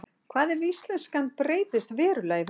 hvað ef íslenskan breytist verulega í framtíðinni